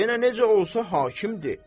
Yenə necə olsa hakimdir.